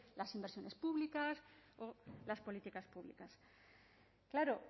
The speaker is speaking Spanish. las inversiones públicas o las políticas públicas claro